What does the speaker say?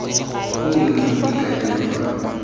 o o bontshang maikaelelo ka